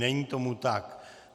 Není tomu tak.